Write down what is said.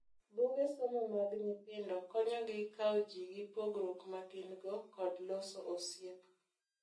Buge somo mag nyithindo konyo gi kau ji gi pogruok magin go kod loso osiep.